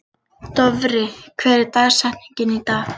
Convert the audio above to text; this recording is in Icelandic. Dofri, hver er dagsetningin í dag?